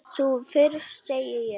Þú fyrst, segi ég.